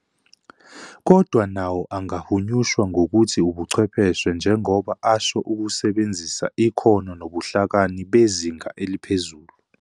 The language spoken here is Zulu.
Kodwa nawo angahunyishwa ngokuthi ubuchwepheshe njengoba asho ukusebenzisa ikhono nobuhlakani bezinga eliphezulu.